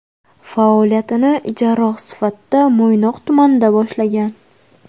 Faoliyatini jarroh sifatida Mo‘ynoq tumanida boshlagan.